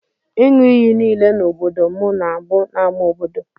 Inyụ iyi nile na obodo mụ na abu n'ama obodo.